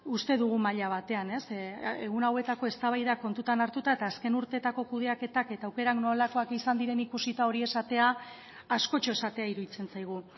uste dugu maila batean egun hauetako eztabaida kontutan hartuta eta azken urteetako kudeaketak eta aukerak nolakoak izan diren ikusita hori esatea askotxo esatea iruditzen zaigu